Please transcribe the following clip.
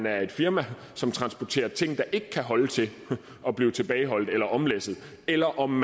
er et firma som transporterer ting der ikke kan holde til at blive tilbageholdt eller omlæsset eller om